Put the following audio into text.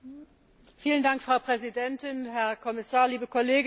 Frau Präsidentin, Herr Kommissar, liebe Kolleginnen und Kollegen!